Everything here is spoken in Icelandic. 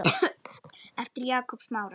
eftir Jakob Smára